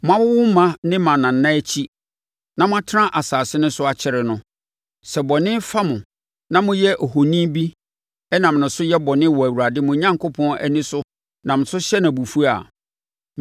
Moawowo mma ne mmanana akyi, na moatena asase no so akyɛre no, sɛ bɔne fa mo na moyɛ ohoni bi nam so yɛ bɔne wɔ Awurade mo Onyankopɔn ani so nam so hyɛ no Abufuo a,